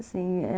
Assim, é...